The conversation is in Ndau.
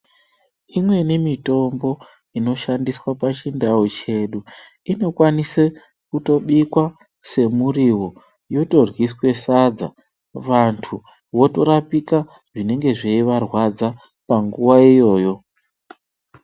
Imweni mitombo inoshandiswa pachindau chedu, inokwanise kutobika semuriwo, yotoryiswe sadza vantu votorapika zvinenge zveyivarwadza panguwa iyoyo.